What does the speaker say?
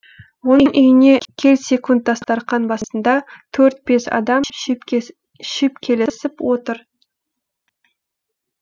оның үйіне келсекунд дастарқан басында төрт бес адам шүйіпкелесіп отыр